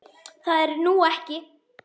Það er nú ekki.